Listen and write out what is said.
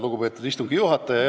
Lugupeetud istungi juhataja!